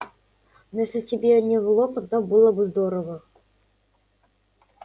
ну если тебе не в лом тогда было бы здорово